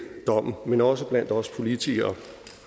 dommen men også blandt os politikere